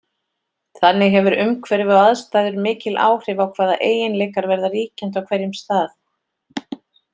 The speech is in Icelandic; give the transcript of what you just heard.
Þannig hefur umhverfi og aðstæður mikil áhrif á hvaða eiginleikar verða ríkjandi á hverjum stað.